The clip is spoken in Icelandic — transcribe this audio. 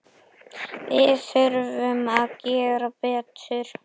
Við þurfum að gera betur.